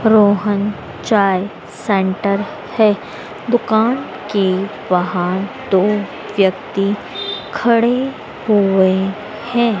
रोहन चाय सेंटर है दुकान के बाहर दो व्यक्ति खड़े हुए हैं।